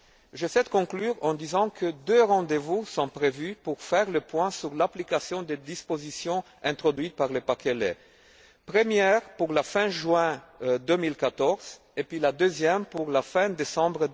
Je conclus en disant que deux rendez vous sont prévus pour faire le point sur l'application des dispositions introduites par le paquet lait, le premier pour la fin juin 2014 et le deuxième pour la fin décembre